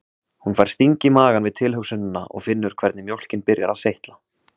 Hún fær sting í magann við tilhugsunina og finnur hvernig mjólkin byrjar að seytla